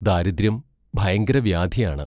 ദാരിദ്ര്യം ഭയങ്കര വ്യാധിയാണ്.